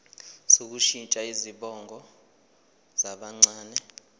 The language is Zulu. sokushintsha izibongo zabancane